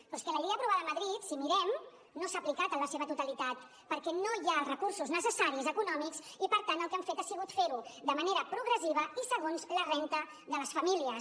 però és que la llei aprovada a madrid si ho mirem no s’ha aplicat en la seva totalitat perquè no hi ha els recursos necessaris econòmics i per tant el que han fet ha sigut fer ho de manera progressiva i segons la renda de les famílies